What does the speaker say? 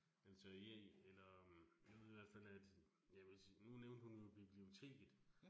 Altså jeg eller, nu ved jeg i hvert fald, at ja nu nævnte hun biblioteket